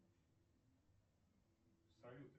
салют